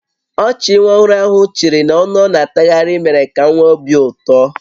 Ọchị nwa ọhụrụ ahụ chịrị na ọnụ ọ na-atatagharị mere ka m nwee obi ụtọ